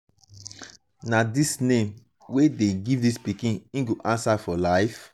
na dis name wey dey give dis pikin im go answer for life.